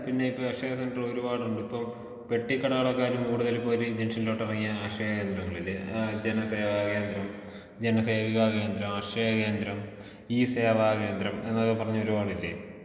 പിന്നെ ഇപ്പം ഈ അക്ഷയ സെന്റർ ഒരുപാടുണ്ട് ഇപ്പം പെട്ടിക്കടകളെക്കാളും കൂടുതല് ഒരു ജംഗ്ഷനിലോട്ട് ഇറങ്ങിയാ അക്ഷയ കേന്ദ്രങ്ങളില്ലേആ ജനസവാ കേന്ദ്രം ജനസേവാ കേന്ദ്രം അക്ഷയ കേന്ദ്രം ഈ സേവാ കേന്ദ്രം എന്നൊക്കെ പറഞ്ഞ് ഒരുപാടില്ലേ.